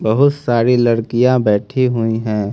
बहुत सारी लड़कियां बैठी हुई हैं।